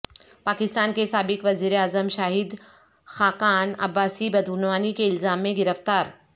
پاکستان کے سابق وزیراعظم شاہد خاقان عباسی بدعنوانی کےالزام میں گرفتار